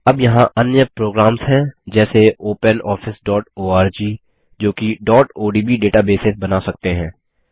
अब यहाँ अन्य प्रोग्राम्स हैं जैसे openofficeओआरजी जोकि odb डेटाबेस बना सकते हैं